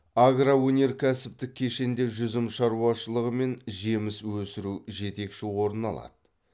агроөнеркәсіптік кешенде жүзім шаруашылығы мен жеміс өсіру жетекші орын алады